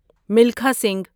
Milkha Singh